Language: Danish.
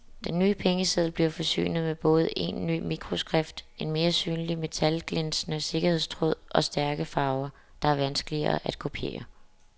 Den nye pengeseddel bliver forsynet med både en ny mikroskrift, en mere synlig metalglinsende sikkerhedstråd og stærke farver, der er vanskeligere at kopiere.